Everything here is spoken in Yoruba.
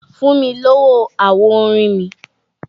Fún mi lówó àwo orin mi!